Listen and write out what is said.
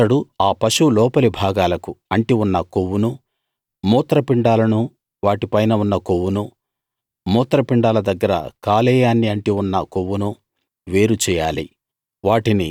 అతడు ఆ పశువు లోపలి భాగాలకు అంటి ఉన్న కొవ్వునూ మూత్రపిండాలనూ వాటిపైన కొవ్వునూ మూత్రపిండాల దగ్గర కాలేయాన్ని అంటి ఉన్న కొవ్వునూ వేరు చేయాలి